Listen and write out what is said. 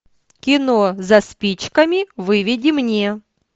кино за спичками выведи мне